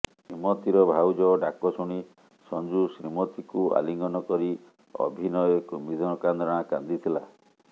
ଶ୍ରୀମତିର ଭାଉଜ ଡାକଶୁଣି ସଞ୍ଜୁ ଶ୍ରୀମତିକୁ ଆଲିଙ୍ଗନ କରି ଅଭିନୟେ କୁମ୍ଭୀର କାନ୍ଦଣା କାନ୍ଦିଥିଲା